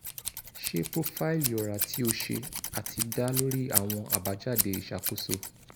ṣe profaili ọra ti o ṣe ati da lori awọn abajade iṣakoso